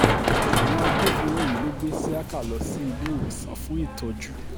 àwọn agbófinró yìí ló gbé isiaka lọ sí iléewòsàn fún ìtọ́jú